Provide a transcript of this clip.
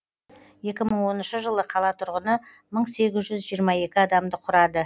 екі мың оныншы жылы қала тұрғыны мың сегіз жүз жиырма екі адамды құрады